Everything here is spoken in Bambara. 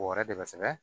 O wɛrɛ de bɛ sɛbɛn